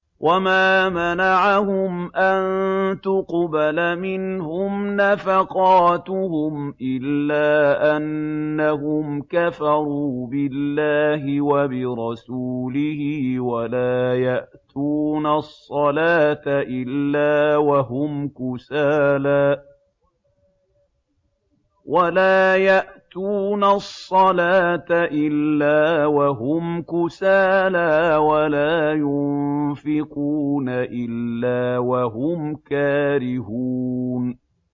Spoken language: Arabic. وَمَا مَنَعَهُمْ أَن تُقْبَلَ مِنْهُمْ نَفَقَاتُهُمْ إِلَّا أَنَّهُمْ كَفَرُوا بِاللَّهِ وَبِرَسُولِهِ وَلَا يَأْتُونَ الصَّلَاةَ إِلَّا وَهُمْ كُسَالَىٰ وَلَا يُنفِقُونَ إِلَّا وَهُمْ كَارِهُونَ